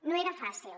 no era fàcil